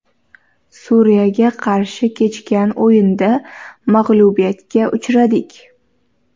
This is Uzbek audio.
Suriyaga qarshi kechgan o‘yinda mag‘lubiyatga uchradik.